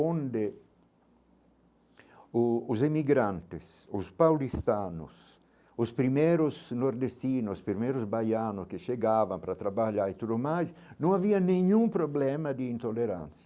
onde o os imigrantes, os paulistanos, os primeiros nordestinos, os primeiros baianos que chegavam para trabalhar e tudo mais, não havia nenhum problema de intolerância.